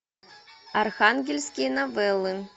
архангельские новеллы